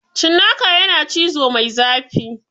Cinnaka yana cizo mai zafi